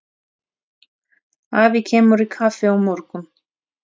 Afi kemur í kaffi á morgun.